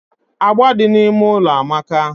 Agba di na ime ụlọ amaka